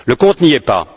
Le compte n'y est pas.